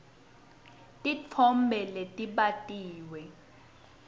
titfombe letbatiwe